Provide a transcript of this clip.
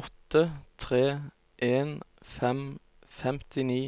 åtte tre en fem femtini